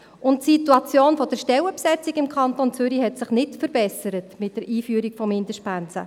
Die Situation der Stellenbesetzung hat sich im Kanton Zürich mit der Einführung von Mindestpensen nicht verbessert.